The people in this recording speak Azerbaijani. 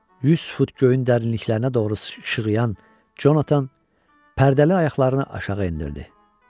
100 fut göyün dərinliklərinə doğru ışığıyan Conatan pərdəli ayaqlarını aşağı endirdi.